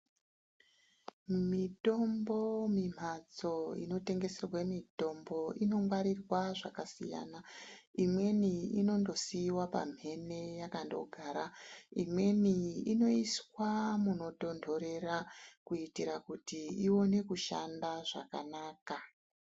Mitombo mi mhatso ino tengeserwe mitombo ino ngwarirwa zvakasiyana imweni inondo siwa pamhene yakando gara imweni inoiswa muno tondorera kuitira kuti ione kushanda zvakanaka.